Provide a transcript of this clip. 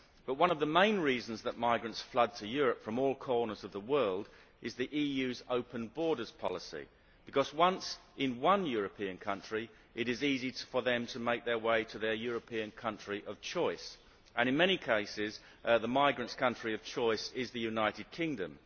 One of the main reasons that migrants flood to Europe from all corners of the world is the EU's open borders policy, because once in one European country it is easy for them to make their way to their European country of choice, and in many cases the migrants' country of choice is the United Kingdom.